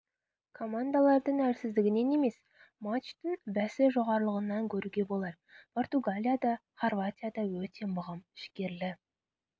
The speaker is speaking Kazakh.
командалардың әлсіздігінен емес матчтың бәсі жоғарылығынан көруге болар португалия да хорватия да өты мығым жігерлі